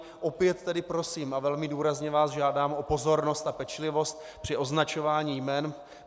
Opět tedy prosím a velmi důrazně vás žádám o pozornost a pečlivost při označování jmen.